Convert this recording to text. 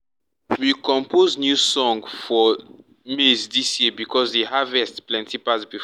um we compose new song for maize this year because the harvest plenty pass before.